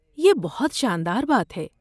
یہ بہت شاندار بات ہے!